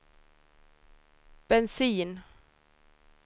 bensin